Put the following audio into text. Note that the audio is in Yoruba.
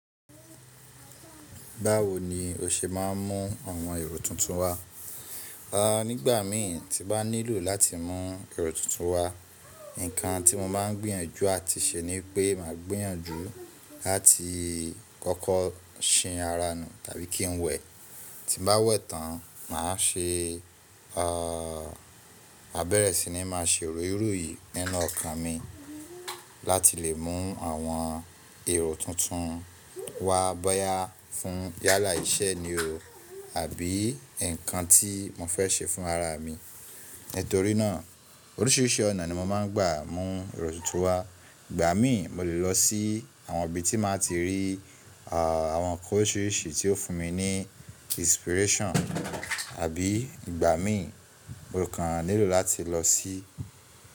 Báwo ni o ṣe máa ń mú àwọn èrò tuntun wá? Nigbà mí tí mo bá nílò láti mú èrò tuntun wá, nkan tí mo máa ń gbìyànjú àti ṣe ni pé màá gbìyànjú láti kọ́kọ́ sìn ara nù tàbí kí n wẹ̀. Ti bá wẹ̀ tán, màá ṣe, a bẹ̀rẹ̀ sí ní máa ṣe royiroyìí nínú ọkàn mi láti lè mú àwọn èrò tuntun wá bọ́yá fún yálà iṣẹ́ ni o àbí nkan tí mo fẹ́ ṣe fún ara mi. Nítorí náà oríṣiríṣi ọ̀nà ni mo máa ń gbà mú èrò tuntun wá. Ìgbà mí mo lè lọ sí àwọn ibi tí màá ti rí àwọn nkan oríṣiríṣi tí ó fún mi ní inspiration àbí ìgbà mí mo kàn nílò láti lọ sí.